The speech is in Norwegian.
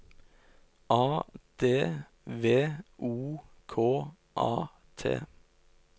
A D V O K A T